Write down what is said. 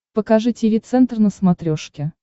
покажи тиви центр на смотрешке